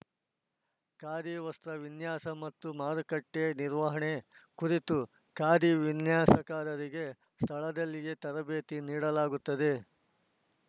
ಖಾದಿ ವಸ್ತ್ರ ವಿನ್ಯಾಸ ಮತ್ತು ಮಾರುಕಟ್ಟೆನಿರ್ವಹಣೆ ಕುರಿತು ಖಾದಿ ವಿನ್ಯಾಸಕಾರರಿಗೆ ಸ್ಥಳದಲ್ಲೇ ತರಬೇತಿ ನೀಡಲಾಗುತ್ತದೆ